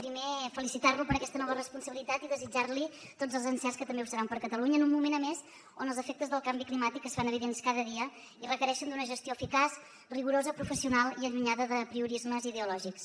primer felicitar lo per aquesta nova responsabilitat i desitjar li tots els encerts que també ho seran per catalunya en un moment a més on els efectes del canvi climàtic es fan evidents cada dia i requereixen una gestió eficaç rigorosa professional i allunyada d’apriorismes ideològics